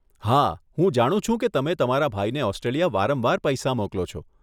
હા, હું જાણું છું કે તમે તમારા ભાઈને ઓસ્ટ્રેલિયા વારંવાર પૈસા મોકલો છે.